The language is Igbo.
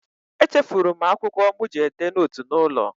Echefuru m akwụkwọ mụ ji edee nootu n'ụlọ